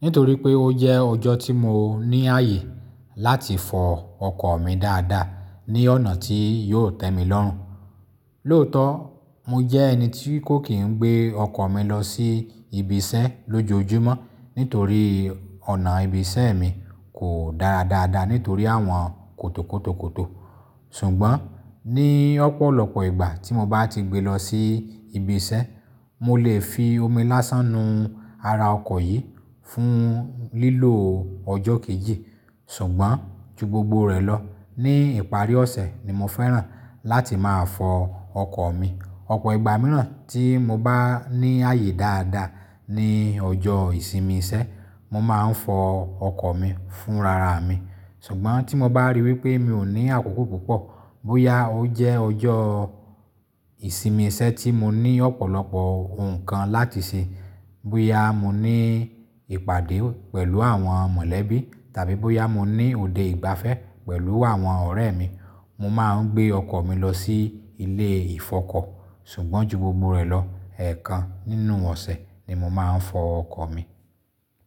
nítorí pé ó jẹ́ ọjọ́ tí mo ní ààyè láti fọ ọkọ̀ mi dáadáa ní ọ̀nà tí yóò tẹ́ mi lọ́rùn. Lóòótọ́, mo jẹ́ ẹni tí kò kí ń gbé ọkọ̀ mi lọ sí ibi iṣẹ́ lójoojúmọ́ nítorí ọ̀nà ibi iṣẹ́ mi kò dára dáadáa nítorí àwọn kòtòkòtòkòtò. Ṣùgbọ́n ní ọ̀pọ̀lọpọ̀ ìgbà tí mo bá ti gbé lọ sí ibi iṣẹ́, mo lè fi omi lásán nu ara ọkọ̀ yìí fún lílò ọjọ́ kejì. Ṣùgbọ́n ju gbogbo rẹ̀ lọ, ní ìparí ọ̀sẹ̀ ni mo fẹ́ràn láti máa fọ ọkọ̀ mi. Ọ̀pọ̀ ìgbà mìíràn tí mo bá ní ààyè dáadáa ní ọjọ́ ìsinmi iṣẹ́, mo máa ń fọ ọkọ̀ mi fún rara mi. Ṣùgbọ́n tí mo bá ríi wí pé mi ò ní àkókò púpọ̀, bóyá ó jẹ́ ọjọ́ ìsinmi iṣẹ́ tí mo ní ọ̀pọ̀lọpọ̀ nǹkan láti ṣe, bóyá mo ní ìpàdé pẹ̀lú àwọn mọ̀lẹ́bí tàbí bóyá mo ní òde ìgbafẹ́ pẹ̀lú àwọn ọ̀rẹ́ mi, mo máa ń gbé ọkọ̀ mi lọ sí ilé ìfọkọ. Ṣùgbọ́n ju gbogbo rẹ̀ lọ, ẹ̀ẹ̀kan nínú ọ̀sẹ̀ ni mo máa ń fọ ọkọ̀ mi.